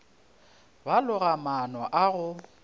ba loga maano a go